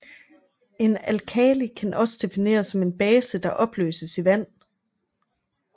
En alkali kan også defineres som en base der opløses i vand